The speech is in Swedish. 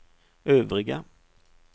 övriga